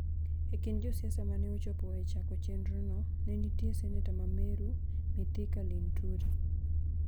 E kind josiasa mane ochopo e chako chenrono, ne nitie Seneta ma Meru, Mithika Linturi,